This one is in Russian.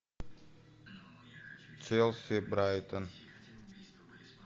челси брайтон